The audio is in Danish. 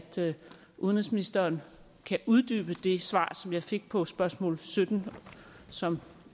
udenrigsministeren kan uddybe det svar som jeg fik på spørgsmål sytten som